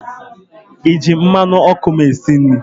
ịji mmanụ ọkụ m esi nri?